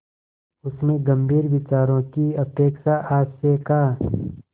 उसमें गंभीर विचारों की अपेक्षा हास्य का